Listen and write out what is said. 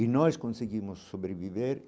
E nós conseguimos sobreviver.